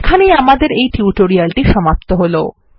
এখানেই আমাদেরএই টিউটোরিয়ালটি সমাপ্ত হলো